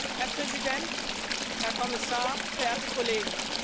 Herr Präsident, Herr Kommissar, verehrte Kollegen!